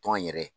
Tɔn yɛrɛ